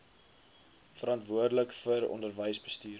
verantwoordelik vir onderwysbestuur